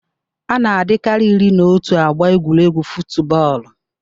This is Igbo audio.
Ana adịkari iri n'otu agba egwuregwu futubọọlụ.